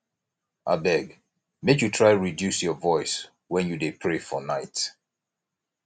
abeg make you try reduce your voice wen you dey pray for night